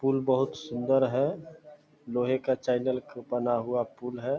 पुल बहुत सुंन्दर हैं लोहे का चैनल का बना हुआ पुल है।